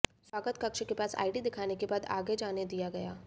स्वागत कक्ष के पास आइडी दिखाने के बाद आगे जाने दिया गया